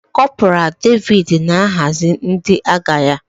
Kọporal Davis na-ahazi ndị agha ya.